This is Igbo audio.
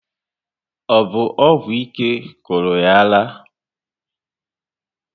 Ọ bụ ọgwụ ike kụrụ yá ara?